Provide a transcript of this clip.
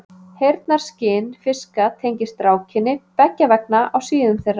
Heyrnarskyn fiska tengist rákinni, beggja vegna á síðum þeirra.